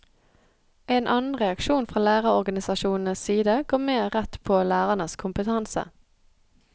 En annen reaksjon fra lærerorganisasjonenes side går mer rett på lærernes kompetanse.